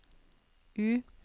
U